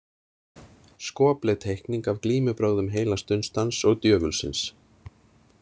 Skopleg teikning af glímubrögðum heilags Dunstans og djöfulsins.